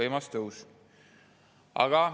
Võimas tõus!